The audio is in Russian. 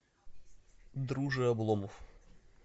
друже обломов